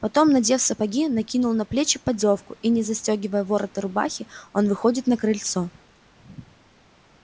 потом надев сапоги накинув на плечи поддёвку и не застёгивая ворота рубахи он выходит на крыльцо